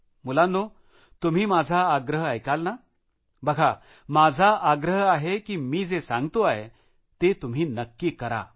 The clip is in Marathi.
मुलांनो तुम्ही माझा आग्रह ऐकाल ना बघा माझा आग्रह आहे की मी जे सांगतो आहे ते तुम्ही नक्की करा